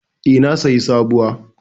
E, na sayi sabuwa.